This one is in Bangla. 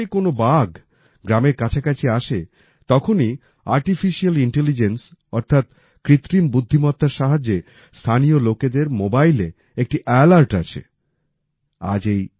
যখনই কোনও বাঘ গ্রামের কাছাকাছি আসে তখনই আর্টিফিশিয়াল ইন্টেলিজেন্স অর্থাৎ কৃত্রিম বুদ্ধিমত্তার সাহায্যে স্থানীয় লোকেদের মোবাইলে একটি আলার্ট আসে সতর্কবার্তা আসে